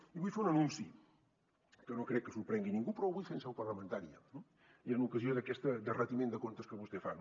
i vull fer un anunci que no crec que sorprengui ningú però ho vull fer en seu parlamentària no i en ocasió d’aquest retiment de comptes que vostè fa